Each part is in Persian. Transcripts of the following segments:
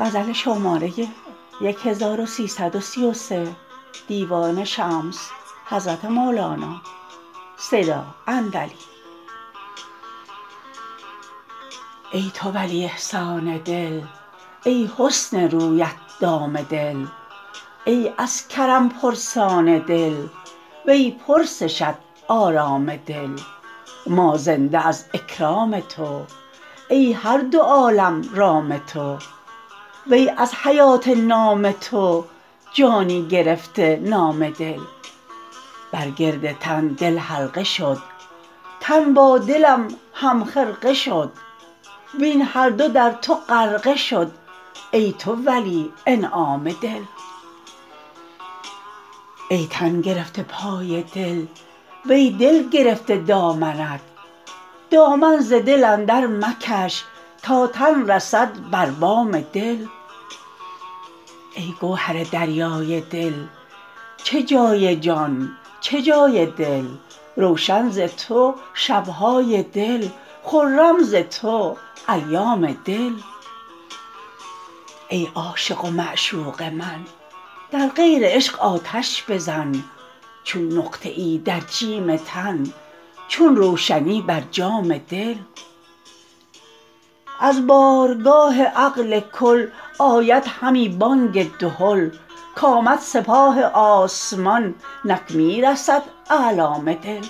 ای تو ولی احسان دل ای حسن رویت دام دل ای از کرم پرسان دل وی پرسشت آرام دل ما زنده از اکرام تو ای هر دو عالم رام تو وی از حیات نام تو جانی گرفته نام دل بر گرد تن دل حلقه شد تن با دلم همخرقه شد وین هر دو در تو غرقه شد ای تو ولی انعام دل ای تن گرفته پای دل وی دل گرفته دامنت دامن ز دل اندرمکش تا تن رسد بر بام دل ای گوهر دریای دل چه جای جان چه جای دل روشن ز تو شب های دل خرم ز تو ایام دل ای عاشق و معشوق من در غیر عشق آتش بزن چون نقطه ای در جیم تن چون روشنی بر جام دل از بارگاه عقل کل آید همی بانگ دهل کآمد سپاه آسمان نک می رسد اعلام دل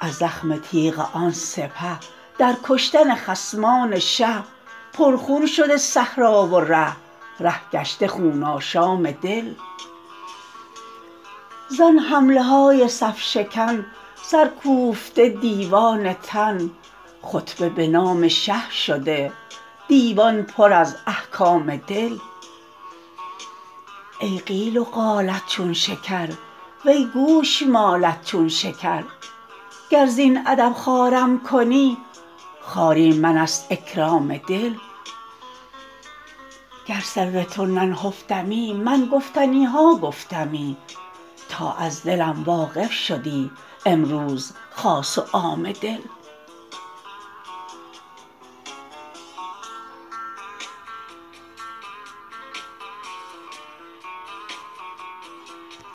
از زخم تیغ آن سپه در کشتن خصمان شه پرخون شده صحرا و ره ره گشته خون آشام دل زان حمله های صف شکن سرکوفته دیوان تن خطبه به نام شه شده دیوان پر از احکام دل ای قیل و قالت چون شکر وی گوشمالت چون شکر گر زین ادب خوارم کنی خواری منست اکرام دل گر سر تو ننهفتمی من گفتنی ها گفتمی تا از دلم واقف شدی امروز خاص و عام دل